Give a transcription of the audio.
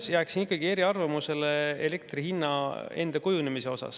Ma jään ikkagi eriarvamusele elektri hinna kujunemise osas.